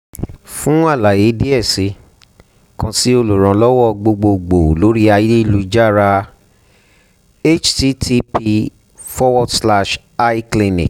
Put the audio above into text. fun alaye diẹ sii kan si oluranlọwọ gbogbogbo lori ayelujara https://icliniq